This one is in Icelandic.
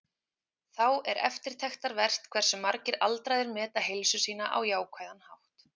Þá er eftirtektarvert hversu margir aldraðir meta heilsu sína á jákvæðan hátt.